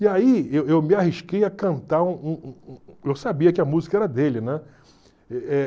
E aí eu eu me arrisquei a cantar, eu sabia que a música era dele, né? Eh